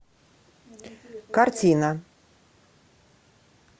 картина